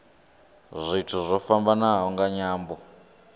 zwithu zwo fhambanaho nga nyambo